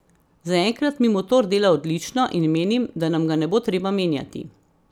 Zaenkrat mi motor dela odlično in menim, da nam ga ne bo treba menjati.